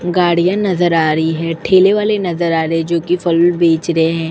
गाड़ियां नजर आ रही है। ठेले वाले नजर आ रहे हैं जो कि फल बेच रहे हैं।